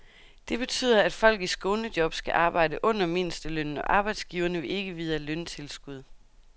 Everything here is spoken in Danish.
Det betyder, at folk i skånejob skal arbejde under mindstelønnen, og arbejdsgiverne vil ikke vide af løntilskud.